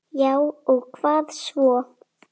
Já og hvað svo?